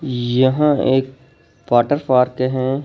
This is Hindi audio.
यहाँ एक वाटर पार्क हैं।